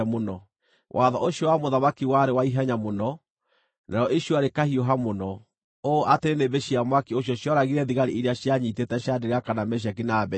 Watho ũcio wa mũthamaki warĩ wa ihenya mũno, narĩo icua rĩkahiũha mũno, ũũ atĩ nĩnĩmbĩ cia mwaki ũcio cioragire thigari iria cianyiitĩte Shadiraka, na Meshaki, na Abedinego,